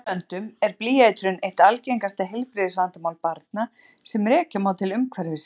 Í sumum löndum er blýeitrun eitt algengasta heilbrigðisvandamál barna sem rekja má til umhverfisins.